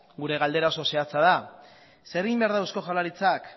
gure galdera oso zehatza da zer egin behar da eusko jaurlaritzak